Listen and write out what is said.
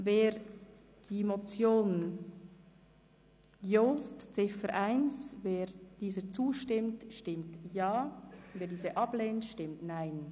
Wer die Ziffer 1 der Motion Jost annimmt, stimmt Ja, wer diese ablehnt, stimmt Nein.